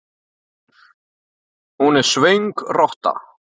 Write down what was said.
Hún er svöng rotta.